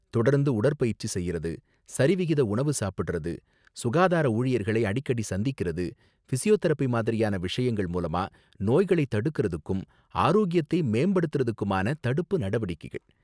தொடர்ந்து உடற்பயிற்சி செய்றது, சரிவிகித உணவு சாப்பிடுறது, சுகாதார ஊழியர்களை அடிக்கடி சந்திக்குறது, பிசியோதெரபி மாதிரியான விஷயங்கள் மூலமா நோய்களைத் தடுக்கறதுக்கும், ஆரோக்கியத்தை மேம்படுத்தறதுக்குமான தடுப்பு நடவடிக்கைகள்.